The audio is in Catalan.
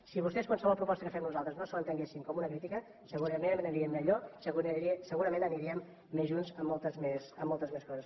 si vostès qualsevol proposta que fem nosaltres no ho entenguessin com una crítica segurament aniríem millor segurament aniríem més junts en moltes més coses